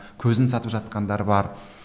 көзін сатып жатқандар бар